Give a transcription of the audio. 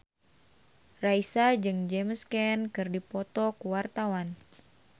Raisa jeung James Caan keur dipoto ku wartawan